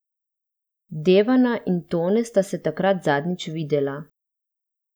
Devana in Tone sta se takrat zadnjič videla.